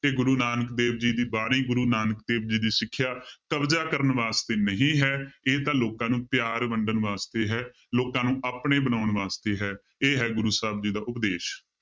ਕਿ ਗੁਰੂ ਨਾਨਕ ਦੇਵ ਜੀ ਦੀ ਬਾਣੀ, ਗੁਰੂ ਨਾਨਕ ਦੇਵ ਜੀ ਦੀ ਸਿੱਖਿਆ ਕਬਜ਼ਾ ਕਰਨ ਵਾਸਤੇ ਨਹੀਂ ਹੈ ਇਹ ਤਾਂ ਲੋਕਾਂ ਨੂੰ ਪਿਆਰ ਵੰਡਣ ਵਾਸਤੇ ਹੈ, ਲੋਕਾਂ ਨੂੰ ਆਪਣੇ ਬਣਾਉਣ ਵਾਸਤੇ ਹੈ ਇਹ ਹੈ ਗੁਰੂ ਸਾਹਿਬ ਜੀ ਦਾ ਉਪਦੇਸ਼।